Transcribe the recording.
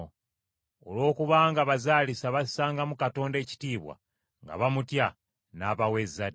Olwokubanga abazaalisa bassangamu Katonda ekitiibwa, nga bamutya, n’abawa ezzadde.